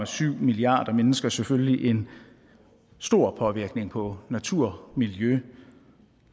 syv milliarder mennesker selvfølgelig en stor påvirkning på natur miljø